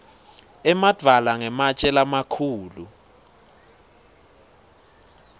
emadvwala ngematje lamakhulu